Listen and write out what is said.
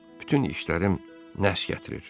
Bütün işlərim nəhs gətirir.